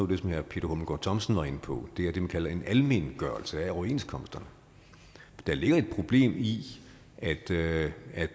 det som herre peter hummelgaard thomsen var inde på er det man kalder en almengørelse af overenskomsterne der ligger et problem i det